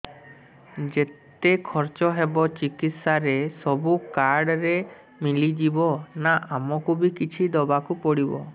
ଯେତେ ଖର୍ଚ ହେବ ଚିକିତ୍ସା ରେ ସବୁ କାର୍ଡ ରେ ମିଳିଯିବ ନା ଆମକୁ ବି କିଛି ଦବାକୁ ପଡିବ